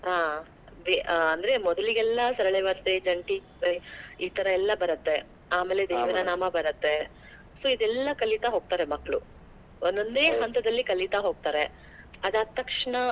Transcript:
ಹಾ ಅಂದ್ರೆ ಮೊದ್ಲಿಗೆಲ್ಲಾ ಜಂಟಿ ಇತರ ಎಲ್ಲಾ ಬರತ್ತೆ ಆಮೇಲೆ ಬರತ್ತೆ so ಇದೆಲ್ಲಾ ಕಲಿತಾ ಹೋಗ್ತಾರೆ ಮಕ್ಕಳು ಒಂದೊಂದೇ ಹಂತದಲ್ಲಿ ಕಲಿತಾ ಹೋಗ್ತಾರೆ. ಆದ್ ಆದತಕ್ಷಣ